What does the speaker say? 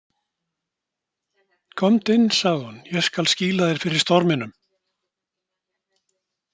Komdu inn, sagði hún, ég skal skýla þér fyrir storminum.